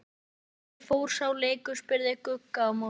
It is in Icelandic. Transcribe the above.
Hvernig fór sá leikur? spurði Gugga á móti.